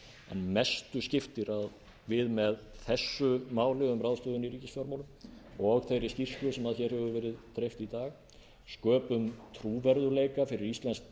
mestu skiptir að við með þessu máli um ráðstöfun í ríkisfjármálum og þeirri skýrslu sem hér hefur verið dreift í dag sköpuðum við trúverðugleika fyrir íslenskt